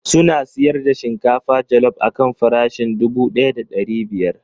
Suna sayar da shinkafa jallop akan farashin dubu daya da ɗari biyar.